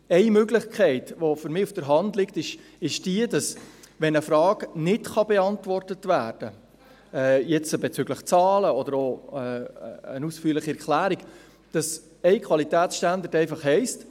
Eine Möglichkeit, die für mich auf der Hand liegt, ist die, dass wenn eine Frage nicht beantwortet werden kann, bezüglich Zahlen oder einer ausführlichen Erklärung, ein Qualitätsstandard einfach heisst: